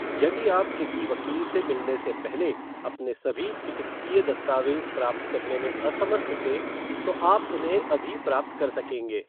यदि आप किसी वकील से मिलने से पहले अपने सभी चिकित्सीय दस्तावेज़ प्राप्त करने में असमर्थ थे, तो आप उन्हें अभी प्राप्त कर सकेंगे।